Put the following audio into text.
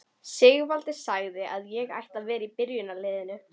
Sigvaldi sagði að ég ætti að vera í byrjunarliðinu!